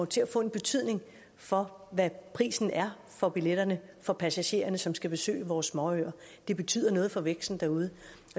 til at få betydning for hvad prisen er for billetterne for passagererne som skal besøge vores småøer det betyder noget for væksten derude